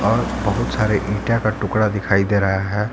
और बहुत सारे इंटा का टुकड़ा दिखाई दे रहा है।